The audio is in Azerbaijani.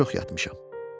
Nə çox yatmışam!